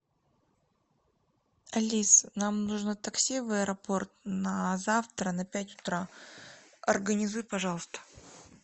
алиса нам нужно такси в аэропорт на завтра на пять утра организуй пожалуйста